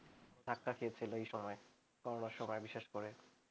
ধাক্কা খেয়েছিল এই সময় corona -র সময় বিশেষ করে